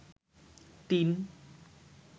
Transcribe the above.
tin